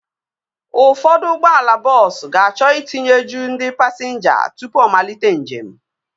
Ụfọdụ ụgbọala bọọsu ga-achọ itinye juu ndị pasinja tụpụ ọ malite njem